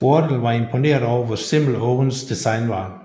Wardell var imponeret over hvor simpelt Owens design var